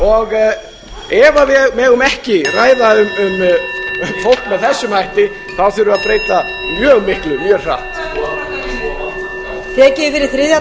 umræðunni ef við megum ekki ræða um fólk með þessum hætti þá þurfum við að breyta mjög miklu mjög hratt